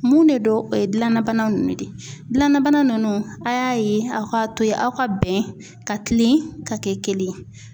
Mun de don ,o ye gilanna bana ninnu de ye ,gilanbana ninnu a y'a yen, aw k'a to ye aw ka bɛn ka kilen ka kɛ kelen ye.